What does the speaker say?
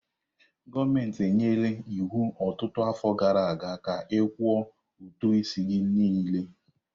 Gọọmentị nyere iwu ọtụtụ afọ gara aga ka ha kwụọ ụtụ isi gị niile!